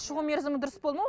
шығу мерзімі дұрыс па оның